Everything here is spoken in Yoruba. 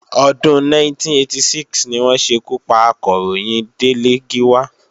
Ọdún 1986 ni wọ́n ṣekú pa Akọ̀ròyìn Délé Gíwá